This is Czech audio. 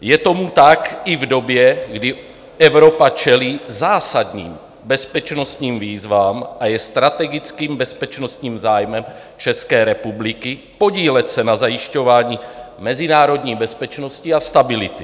Je tomu tak i v době, kdy Evropa čelí zásadním bezpečnostním výzvám a je strategickým bezpečnostním zájmem České republiky podílet se na zajišťování mezinárodní bezpečnosti a stability.